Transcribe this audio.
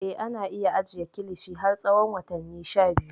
Eh, ana iya ajiye kilishi har tsawon watanni sha biyu.